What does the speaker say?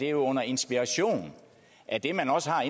er under inspiration af det man også har